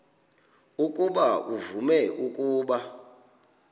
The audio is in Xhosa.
ukuba uvume ukuba